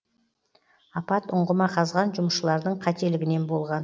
апат ұңғыма қазған жұмысшылардың қателігінен болған